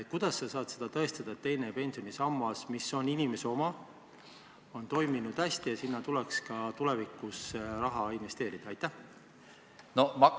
Kuidas sa saad tõestada, et teine pensionisammas, mis on inimese oma, on toiminud hästi ja sinna tuleks ka tulevikus raha investeerida?